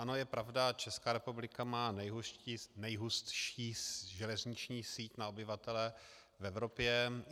Ano, je pravda, Česká republika má nejhustší železniční síť na obyvatele v Evropě.